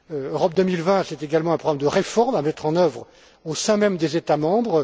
Europe 2020, c'est également adopter des réformes à mettre en œuvre au sein même des États membres.